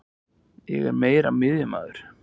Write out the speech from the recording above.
Ég er meira miðjumaður.